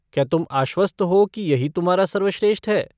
क्या तुम आश्वस्त हो कि यही तुम्हारा सर्वश्रेष्ठ है?